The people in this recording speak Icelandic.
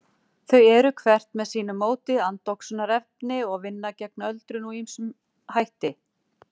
Þau eru, hvert með sínu móti, andoxunarefni og vinna gegn öldrun með ýmsum hætti.